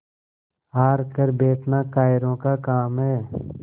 हार कर बैठना कायरों का काम है